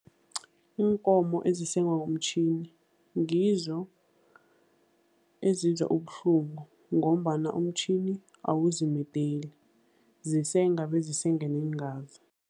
Iinkomo ezisengwa ngomtjhini ngizo ezizwa ubuhlungu ngombana umtjhini awuzimedeli, zisenga bezisenge neengazi.